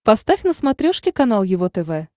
поставь на смотрешке канал его тв